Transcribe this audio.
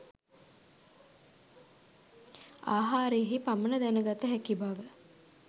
ආහාරයෙහි පමණ දැන ගත හැකි බව